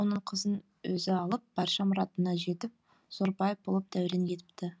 оның қызын өзі алып барша мұратына жетіп зор бай болып дәурен етіпті